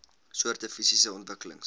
soorte fisiese ontwikkelings